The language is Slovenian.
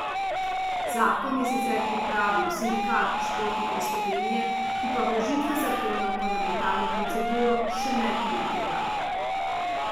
Zakon je sicer pripravil Sindikat športnikov Slovenije, ki pa vložitve zakona v parlamentarno proceduro še ne komentira.